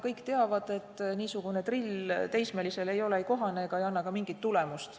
Kõik teavad, et niisugune drill teismelise puhul ei ole kohane ega anna ka mingit tulemust.